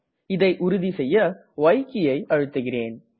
இதை உறுதி செய்ய ய் கீயை அழுத்துகிறேன்